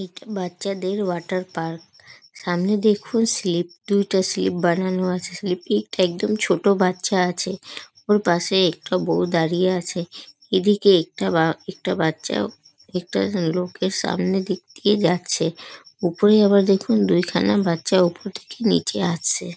এইটি বাচ্চাদের water park সামনে দেখুন দুইটা স্লীপ বানানো আছে স্লীপ এ একদম ছোট বাচ্চা আছে ওর পাশে একটি বৌ দাঁড়িয়ে আছে এইদিকে একটা বা একটা বাচ্চা একটা লোক সামনের দিক থাকে যাচ্ছে উপরে আবার দেখুন দুইখানা বাচ্চা ওপর থেকে নিচে আসছে।